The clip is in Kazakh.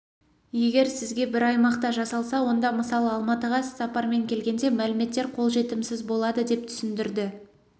егер сізге бір аймақта жасалса онда мысалы алматыға іссапармен келгенде мәліметтер қол жетімсіз болады деп түсіндірді